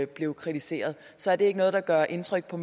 blev kritiseret så er det ikke noget der gør indtryk på